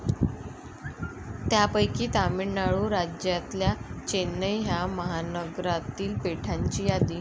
त्यापैकी तामिळनाडू राज्यातल्या चेन्नई ह्या महानगरातील पेठांची यादी.